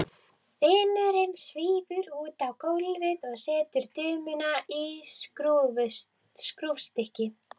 Vinurinn svífur út á gólfið og setur dömuna í skrúfstykki.